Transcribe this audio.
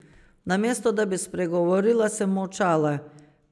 Namesto da bi spregovorila, sem molčala.